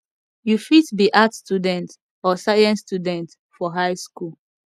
you fit be arts student or science student for high skool